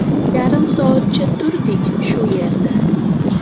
Yarim soatcha turdik shu yerda.